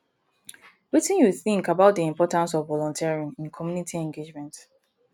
wetin you think about di importance of volunteering in community engagement